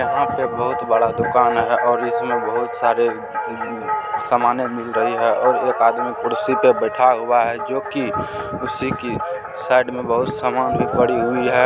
यहां पर बहुत बड़ा दुकान है और इसमें बहुत सारे सामाने मिल रही है और एक आदमी कुर्सी पे बैठा हुआ है जोकि उसी की साइड में बहुत सामान भी पड़ी हुई है।